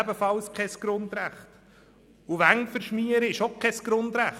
Wände verschmieren ist auch kein Grundrecht.